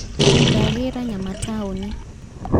Ndagĩra nyama taũni